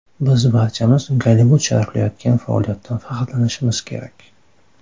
Biz barchamiz Gollivud sharaflayotgan faoliyatdan faxrlanishimiz kerak.